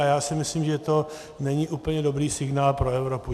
A já si myslím, že to není úplně dobrý signál pro Evropu.